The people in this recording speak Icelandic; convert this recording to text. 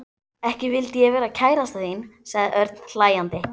Ekki vildi ég vera kærastan þín sagði Örn hlæjandi.